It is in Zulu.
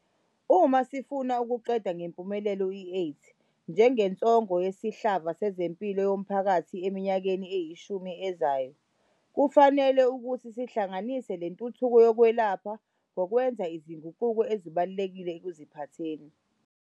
Uma sifuna ukuqeda ngempumelelo i-AIDS njengensongo yesihlava sezempilo yomphakathi eminyakeni eyishumi ezayo, kufanele ukuthi sihlanganise le ntuthuko yokwelapha ngokwenza izinguquko ezibalulekile ekuziphatheni.